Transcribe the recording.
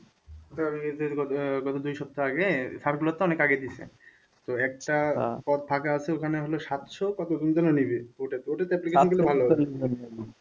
আহ গত দুই সপ্তাহ আগে তো অনেক আগে দিছে তো একটা পদ ফাঁকা আছে ওখানে হলো সাতশো কত